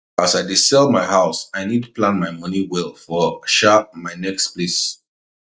as i dey dey sell my house i need plan my money well for um my next place